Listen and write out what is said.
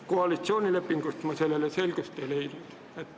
Koalitsioonilepingust ma selles selgust ei leidnud.